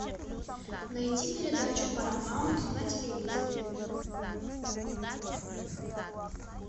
найти передачу парамаунт на телевизоре